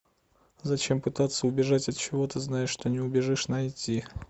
зачем пытаться убежать от чего то зная что не убежишь найти